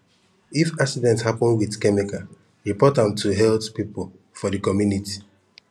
if accident happen with chemical report am to health people for the community